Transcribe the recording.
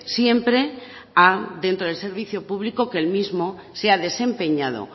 siempre a dentro del servicio público que el mismo sea desempeñado